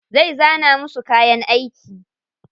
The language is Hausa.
Zai zana musu kayan aiki.